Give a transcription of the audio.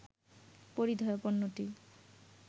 পরিধেয় পণ্যটি